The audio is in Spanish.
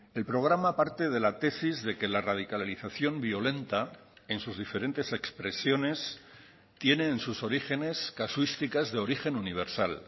el programa parte de la tesis de que la radicalización violenta en sus diferentes expresiones tiene en sus orígenes casuísticas de origen universal